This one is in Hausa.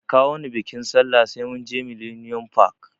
Da kawoni biƙin sallah sai munje millennium park